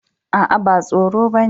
Aa, ba tsoro ba ne.